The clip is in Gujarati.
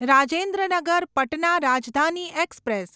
રાજેન્દ્ર નગર પટના રાજધાની એક્સપ્રેસ